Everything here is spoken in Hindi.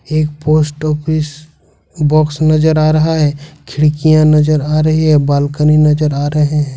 एक पोस्ट ऑफिस बॉक्स नजर आ रहा है खिड़कियां नजर आ रही है बालकनी नजर आ रहे हैं।